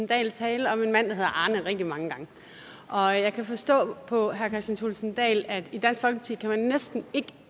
dahl tale om en mand der hedder arne rigtig mange gange og jeg kan forstå på herre kristian thulesen dahl at i dansk folkeparti næsten ikke